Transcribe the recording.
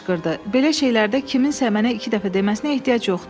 Belə şeylərdə kiminsə mənə iki dəfə deməsinə ehtiyac yoxdur.